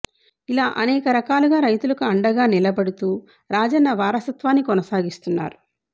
ఇలా అనేక రకాలుగా రైతులకు అండగా నిలబడుతూ రాజన్న వారసత్వాన్ని కొనసాగిస్తున్నారు